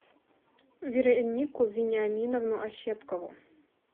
веронику вениаминовну ощепкову